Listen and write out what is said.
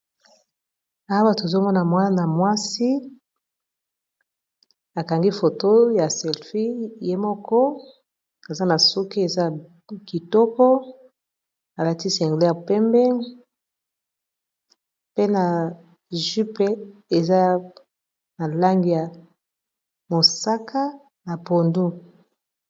Awa tozomona mwana mwasi akangi foto ya selfi ye moko aza na suke eza kitoko alatisi angleis ya pembeng pe na jup eza na langi ya mosaka na pondu